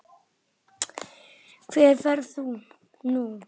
Hvert ferðu nú?